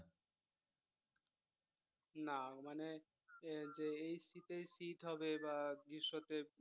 না মানে যে এই শীতেই শীত হবে বা গ্রীষ্মতে